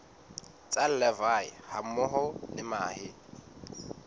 tsa larvae hammoho le mahe